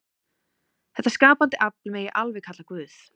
Þetta skapandi afl megi alveg kalla Guð.